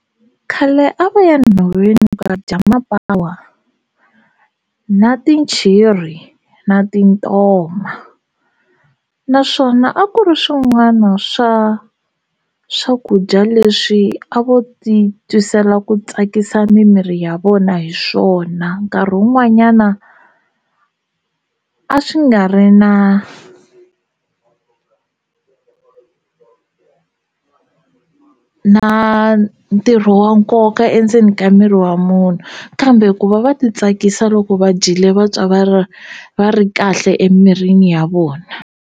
Khale a va ya nhoveni ku ya dya mapawa na tinchiri na tintoma naswona a ku ri swin'wana swa swakudya leswi a vo ti tisela ku tsakisa mimiri ya vona hi swona nkarhi wun'wanyana a swi nga ri na na ntirho wa nkoka endzeni ka miri wa munhu kambe ku va va ti tsakisa loko va dyile vatwa va ri va ri kahle emirini ya vona.